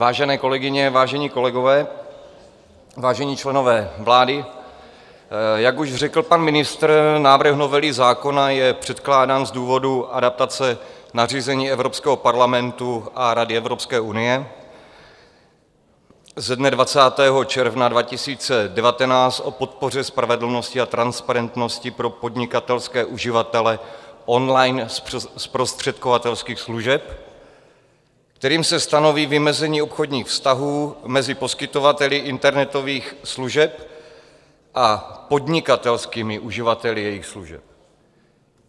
Vážené kolegyně, vážení kolegové, vážení členové vlády, jak už řekl pan ministr, návrh novely zákona je předkládán z důvodu adaptace nařízení Evropského parlamentu a Rady Evropské unie ze dne 20. června 2019 o podpoře spravedlnosti a transparentnosti pro podnikatelské uživatele on-line zprostředkovatelských služeb, kterým se stanoví vymezení obchodních vztahů mezi poskytovateli internetových služeb a podnikatelskými uživateli jejich služeb.